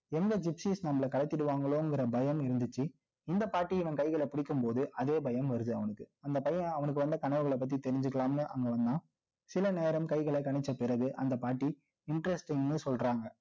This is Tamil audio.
எந்த gypsies நம்மள கலக்கிடுவாங்களோங்கற பயம் இருந்துச்சு. இந்த பாட்டி இவன் கைகளை பிடிக்கும்போது, அதே பயம் வருது அவனுக்கு. அந்த பையன் அவனுக்கு வந்த கனவுகளை பத்தி தெரிஞ்சுக்கலாம்னு அங்க வந்தான். சில நேரம் கைகளை கணிச்ச பிறகு, அந்த பாட்டி interesting ன்னு சொல்றாங்க